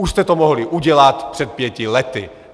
Už jste to mohli udělat před pěti lety.